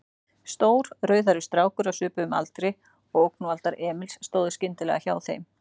Stór, rauðhærður strákur á svipuðum aldri og ógnvaldar Emils stóð skyndilega hjá þeim.